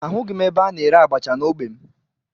Ahụghị m ebe a na-ere abacha n'ogbe m